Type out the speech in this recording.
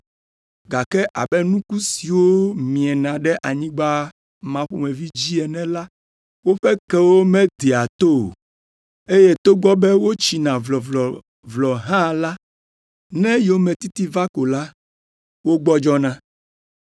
gake abe nuku siwo miena ɖe anyigba ma ƒomevi dzi ene la, woƒe kewo medea to o, eye togbɔ be wotsina vlɔvlɔvlɔ hã la, ne yometiti va ko la, wogbɔdzɔna.